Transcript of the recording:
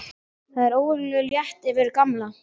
Það var óvenju létt yfir Gamla.